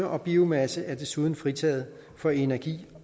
og biomasse er desuden fritaget for energi